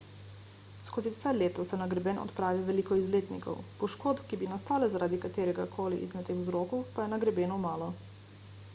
skozi vse leto se na greben odpravi veliko izletnikov poškodb ki bi nastale zaradi katerega koli izmed teh vzrokov pa je na grebenu malo